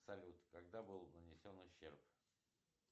салют когда был нанесен ущерб